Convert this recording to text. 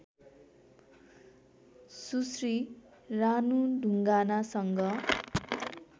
Sushri Ranu ढुङ्गानासँग